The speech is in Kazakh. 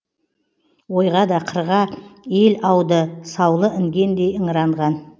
ойға да қырға ел ауды саулы інгендей ыңыранған